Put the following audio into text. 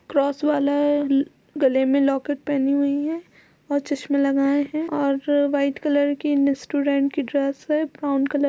Cross वाला है। अ गले में लॉकेट पहनी हुई हैं और चश्मा लगाये हैं और व्हाइट कलर की स्टूडेंट की ड्रेस है। Brown colour --